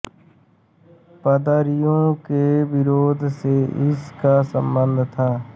पादरियों के विरोध से इस का सम्बंध था